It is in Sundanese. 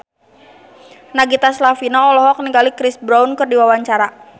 Nagita Slavina olohok ningali Chris Brown keur diwawancara